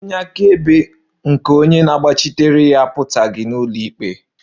Onye akaebe nke onye na-agbachitere ya apụtaghị n'ụlọikpe